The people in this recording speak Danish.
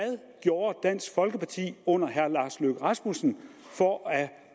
gjorde dansk folkeparti under herre lars løkke rasmussen for at